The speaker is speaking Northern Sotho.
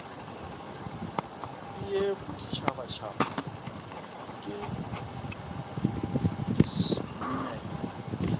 le ya boditšhabatšhaba ke dismme